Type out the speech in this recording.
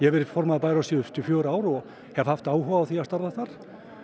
verið formaður bæjarráðs síðustu fjögur ár og hef haft áhuga á að starfa þar